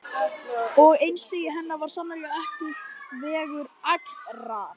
Og einstigi hennar var sannarlega ekki vegur allra.